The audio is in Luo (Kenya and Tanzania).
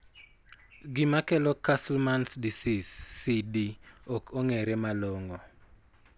Gima kelo Castleman's disease (CD) ok ong'ere malong'o.